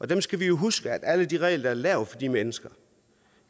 dem skal vi jo huske alle de regler der er lavet for de mennesker